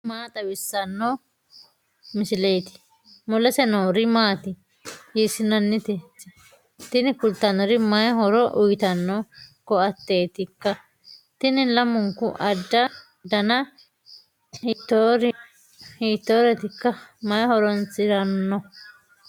tini maa xawissanno misileeti ? mulese noori maati ? hiissinannite ise ? tini kultannori mayi horo uyitanno koateetikka tini lamunku dana hiittoorwwtikka mayi horoonsiranno